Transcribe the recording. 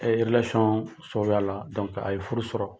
sababuya la a ye furu sɔrɔ.